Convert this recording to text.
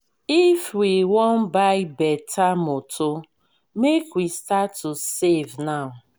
if we wan buy beta motor make we start to save now.